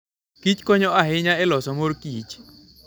kich konyo ahinya e loso mor kich